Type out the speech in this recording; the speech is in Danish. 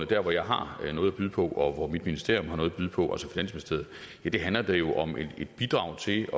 der hvor jeg har noget at byde på og hvor mit ministerium at byde på handler det jo om at bidrage til